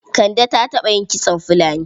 Kande ta taɓa yin kitson fulani?